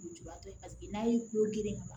Lujuratɔ ye paseke n'a ye kulo girin ka